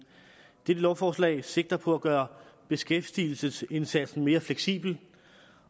det lovforslag sigter på at gøre beskæftigelsesindsatsen mere fleksibel